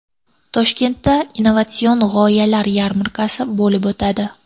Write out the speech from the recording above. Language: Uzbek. Toshkentda Innovatsion g‘oyalar yarmarkasi bo‘lib o‘tadi.